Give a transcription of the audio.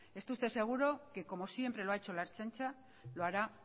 esté usted seguro que como siempre lo ha hecho la ertzaintza lo hará